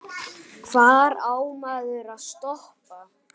Hvar á maður að stoppa?